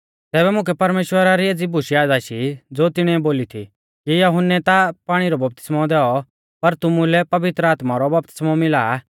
तैबै मुकै परमेश्‍वरा री एज़ी बूश याद आशी ज़ो तिणीऐ बोली थी कि यहुन्नै ता पाणी रौ बपतिस्मौ दैऔ पर तुमुलै पवित्र आत्मा रौ बपतिस्मौ मिला आ